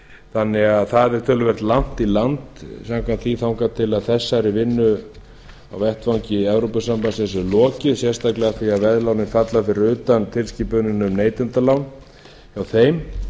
þannig að það er töluvert langt í land samkvæmt því þangað til þessari vinnu á vettvangi evrópusambandsins er lokið sérstaklega af því að veðlánin falla fyrir utan tilskipunina um neytendalán hjá þeim